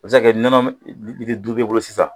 U bɛ se kɛ nɔnɔ li litiri duuru bɛ bolo sisan